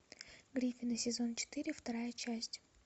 гриффины сезон четыре вторая часть